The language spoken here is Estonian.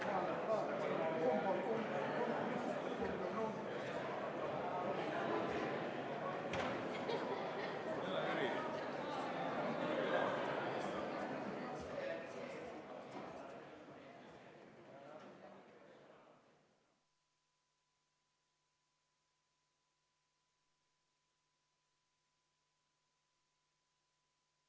Hääletamissedel, millel on märgistatud rohkem kui ühe kandidaadi nimi või millel ei ole märgistatud ühegi kandidaadi nime, loetakse kehtetuks.